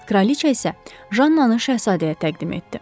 Kraliçə isə Jannanı şahzadəyə təqdim etdi.